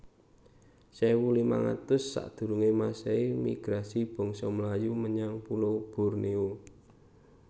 sewu limang atus sakdurunge masehi Migrasi bangsa Melayu menyang pulo Bornéo